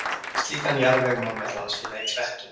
slíkan jarðveg má meðal annars finna í klettum